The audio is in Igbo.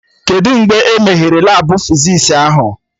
Kedụ mgbe e meghere Labụ fizis ahụ?